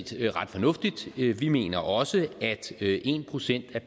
set ret fornuftigt vi vi mener også at en procent af